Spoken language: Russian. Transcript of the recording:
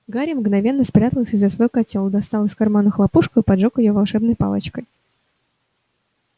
гарри мгновенно спрятался за свой котёл достал из кармана хлопушку и поджёг её волшебной палочкой